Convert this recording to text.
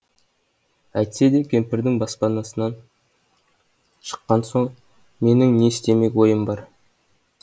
әйтсе де кемпірдің баспанасынан шыққан соң менің не істемек ойым бар